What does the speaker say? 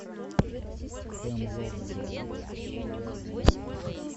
хемлок гроув серия один